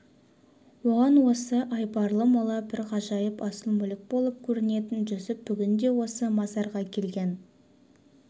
оған осы айбарлы мола бір ғажайып асыл мүлік болып көрінетін жүсіп бүгін де осы мазарға келген